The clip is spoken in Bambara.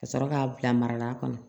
Ka sɔrɔ k'a bila mara la